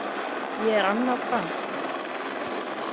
Ég er Anna Frank.